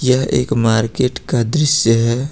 यह एक मार्केट का दृश्य है।